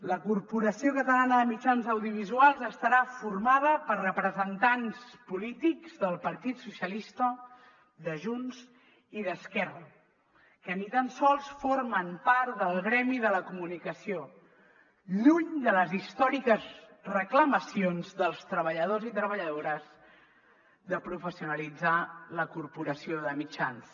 la corporació catalana de mitjans audiovisuals estarà formada per representants polítics del partit socialistes de junts i d’esquerra que ni tan sols formen part del gremi de la comunicació lluny de les històriques reclamacions dels treballadors i treballadores de professionalitzar la corporació de mitjans